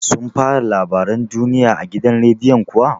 Sun fara labaran duniya a gidan rediyon kuwa?